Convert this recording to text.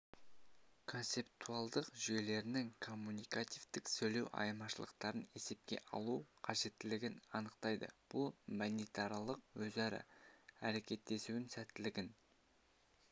концептуалдық жүйелерінің коммуникативтік-сөйлеу айырмашылықтарын есепке алу қажеттілігін анықтайды бұл мәдениетаралық өзара әрекеттесудің сәттілігін